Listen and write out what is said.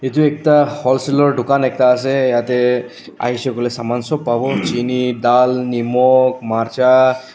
etu ekta wholesaler dukan etka ase ete ahisey koiley saman sob pavo cheni dal nimok marcha.